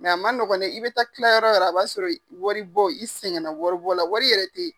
Nga a ma nɔgɔn dɛ i bɛ taa kila yɔrɔ a b'a sɔrɔ waribɔ i sɛgɛnna waribɔ la wari yɛrɛ teyi.